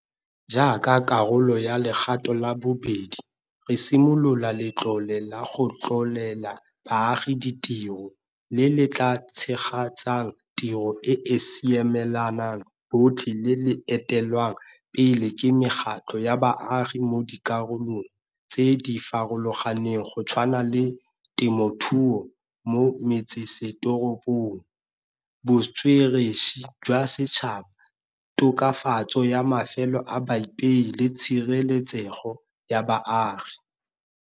Jaaka karolo ya legato la bobedi, re simolola Letlole la go Tlholela Baagi Ditiro le le tla tshegetsang tiro e e siamelang botlhe le le etelelwang pele ke mekgatlho ya baagi mo dikarolong tse di farologaneng go tshwana le temothuo mo metsesetoropong, botsweretshi jwa setšhaba, tokafatso ya mafelo a baipei le tshireletsego ya baagi.